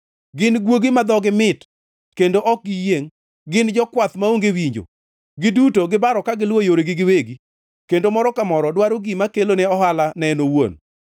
Gin guogi ma dhogi mit kendo ok giyiengʼ. Gin jokwath maonge winjo; giduto gibaro ka giluwo yoregi giwegi, kendo moro ka moro dwaro gima kelone ohala ne en owuon.